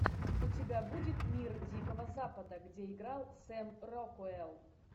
у тебя будет мир дикого запада где играл сэм рокуэлл